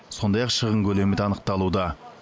сондай ақ шығын көлемі де анықталуда